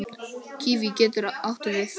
Kíví getur átti við